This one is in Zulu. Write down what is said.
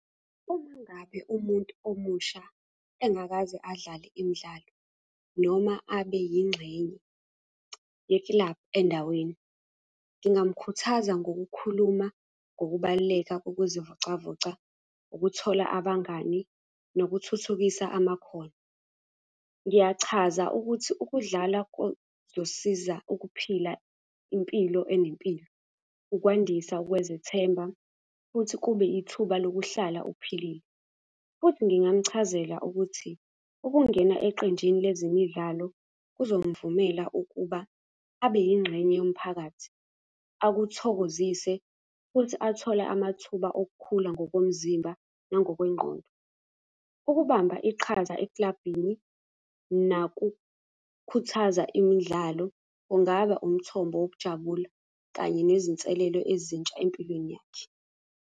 Uma ngabe umuntu omusha engakaze adlale imidlalo noma abe yingxenye yekilabhu endaweni. Ngingamukhuthaza ngokukhuluma ngokubaluleka kokuzivocavoca, ukuthola abangani, nokuthuthukisa amakhono. Ngiyachaza ukuthi ukudlala kuzosiza ukuphila impilo enempilo, ukwandisa ukwezethemba, futhi kube ithuba lokuhlala uphilile. Futhi ngingamchazela ukuthi, ukungena eqenjini lezemidlalo kuzomuvumela ukuba abe yingxenye yomphakathi. Akuthokozise, futhi athole amathuba okukhula ngokomzimba, nangokwengqondo. Ukubamba iqhaza ekilabhini nakukhuthaza imidlalo, kungaba umthombo wokujabula kanye nezinselelo ezintsha empilweni yakhe.